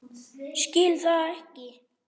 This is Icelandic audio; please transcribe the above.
Skil það ekki.